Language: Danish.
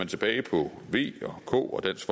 tilbage på v og k